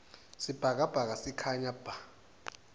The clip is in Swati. sibhakabhaka sikhanya bha